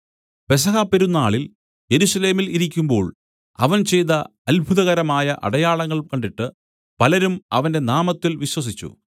പെസഹ പെരുന്നാളിൽ യെരൂശലേമിൽ ഇരിക്കുമ്പോൾ അവൻ ചെയ്ത അത്ഭുതകരമായ അടയാളങ്ങൾ കണ്ടിട്ട് പലരും അവന്റെ നാമത്തിൽ വിശ്വസിച്ചു